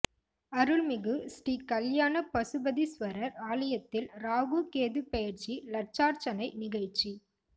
அருள்மிகு ஸ்ரீ கல்யாண பசுபதீஸ்வரர் ஆலயத்தில் ராகு கேது பெயர்ச்சி லட்சார்ச்சனை நிகழ்ச்சி